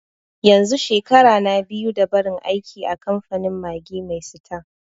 yanzu shekara na biyu da nabar aiki a kamfanin Maggi mai sita